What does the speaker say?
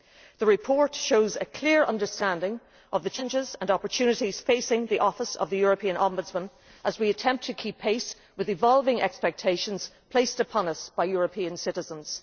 The report shows a clear understanding of the challenges and opportunities facing the Office of the European Ombudsman as we attempt to keep pace with the evolving expectations placed upon us by European citizens.